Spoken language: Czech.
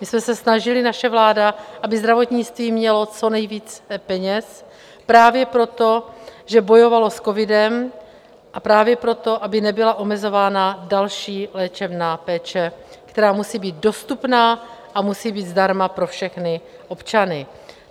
My jsme se snažili, naše vláda, aby zdravotnictví mělo co nejvíce peněz právě proto, že bojovalo s covidem, a právě proto, aby nebyla omezována další léčebná péče, která musí být dostupná a musí být zdarma pro všechny občany.